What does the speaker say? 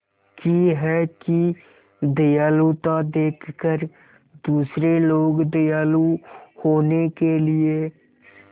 की है कि दयालुता देखकर दूसरे लोग दयालु होने के लिए